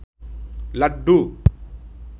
laddu